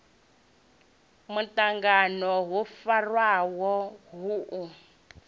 muṱangano wo farwaho hu u